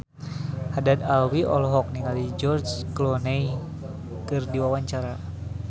Haddad Alwi olohok ningali George Clooney keur diwawancara